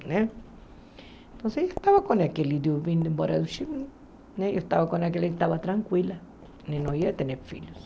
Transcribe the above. Né então eu estava com aquele Diu vindo embora do Chile, né eu estava com aquele que estava tranquila, ele não ia ter filhos.